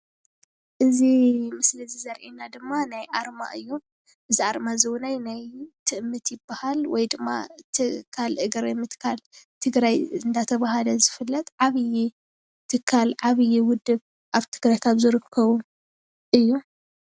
እዚ ስምሊ እዚ ዘርእየና ድማ ናይ ኣርማ እዩ፡፡ እዚ ኣርማ እውን ትእምት ይባሃል ወይ ድማ ትካል እግሪ ምትካል ትግራይ እንዳተባሃለ ዝፍለጥ ዓብይ ትካል ዓብይ ውድብ ኣብ ትግራይ ካብ ዝርከቡ እዩ፡፡